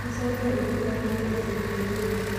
Ũcoke ũtinangie icunjĩ nini